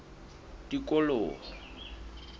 tikoloho